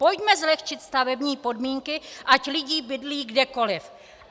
Pojďme zlehčit stavební podmínky, ať lidi bydlí kdekoliv.